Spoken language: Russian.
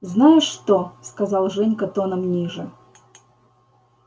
знаешь что сказал женька тоном ниже